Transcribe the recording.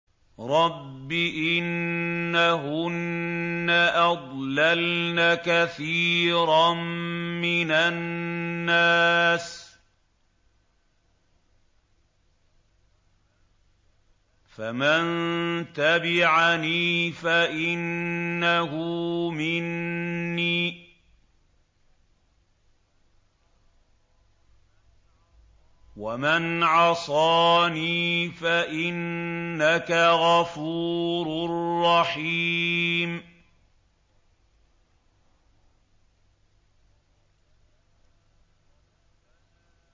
رَبِّ إِنَّهُنَّ أَضْلَلْنَ كَثِيرًا مِّنَ النَّاسِ ۖ فَمَن تَبِعَنِي فَإِنَّهُ مِنِّي ۖ وَمَنْ عَصَانِي فَإِنَّكَ غَفُورٌ رَّحِيمٌ